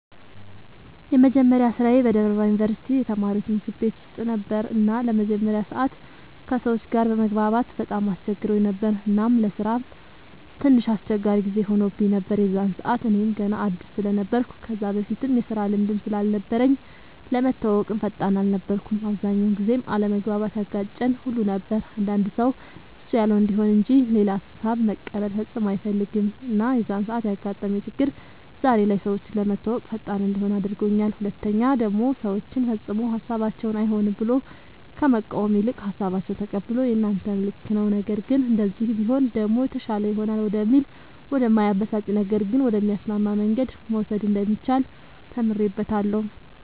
የመጀመሪያ ስራዬ በደብረ ብርሃን ዩንቨርስቲ የተማሪወች ምግብ ቤት ውስጥ ነበር እና ለመጀመሪያ ሰዓት ከሰወች ጋር መግባባት በጣም አስቸግሮኝ ነበር እናም ለስራም ትንሽ አስቸጋሪ ጊዜ ሆኖብኝ ነበር የዛን ሰዓት እኔም ገና አድስ ስለነበርኩ ከዛ በፊትም የስራ ልምድም ስላልነበረኝ ለመተወወቅም ፈጣን አልነበርኩም። አብዛኛውን ጊዜም አለመግባባት ያጋጨን ሁሉ ነበር አንዳንድ ሰው እሱ ያለው እንዲሆን እንጅ ሌላ ሃሳብ መቀበል ፈፅሞ አይፈልግም እና የዛን ሰዓት ያጋጠመኝ ችግር ዛሬ ላይ ሰወችን ለመተወወቅ ፈጣን እንድሆን አድርጎኛል ሁለተኛ ደሞ ሰወችን ፈፅሞ ሀሳባቸውን አይሆንም ብሎ ከመቃወም ይልቅ ሃሳባቸውን ተቀብሎ የናንተም ልክ ነዉ ነገር ግን እንደዚህ ቢሆን ደሞ የተሻለ ይሆናል ወደሚል ወደ እማያበሳጭ ነገር ግን ወደሚያስማማ መንገድ መውሰድ እንደሚቻል ተምሬበታለሁ።